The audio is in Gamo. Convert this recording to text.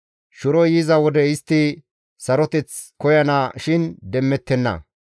Shiroy yiza wode istti saroteth koyana shin demmettenna.